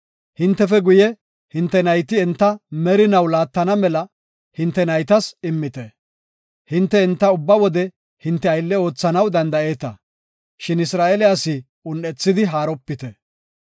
Hintefe guye, hinte nayti enta merinaw laattana mela hinte naytas immite. Hinte enta ubba wode hinte aylle oothanaw danda7eeta; shin Isra7eele asi un7ethidi haaropite.